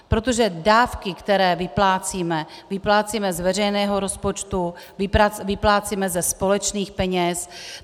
Protože dávky, které vyplácíme, vyplácíme z veřejného rozpočtu, vyplácíme ze společných peněz.